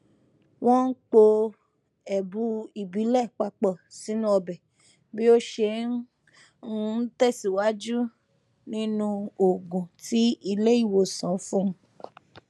wọn n po ẹbu ìbílẹ papọ sínú ọbẹ bí ó ṣe n um tẹsíwájú nínú òògùn tí ilé ìwòsàn fún un